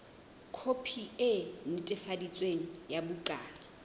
khopi e netefaditsweng ya bukana